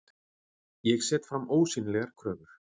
Ég set fram ósýnilegar kröfur.